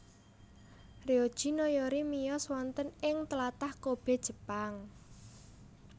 Ryoji Noyori miyos wonten ing tlatah Kobe Jepang